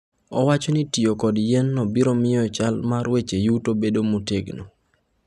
Owacho ni tiyo kod yienno biro miyo chal mar weche yuto obed motegno.